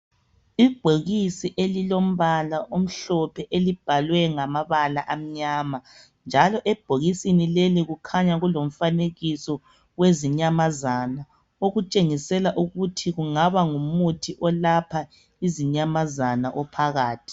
Ibhokisi elilombala omhlophe elibhalwe ngamabala amnyama. Njalo ebhokisini leli kukhanya kulomfanekiso wezinyamazana okutshengisela ukuthi kungaba ngumuthi olapha izinyamazana ophakathi.